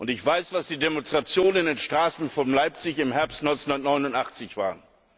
Ich weiß, was die Demonstrationen in den Straßen von Leipzig im Herbst 1989 waren.